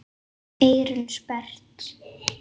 Eyrun sperrt.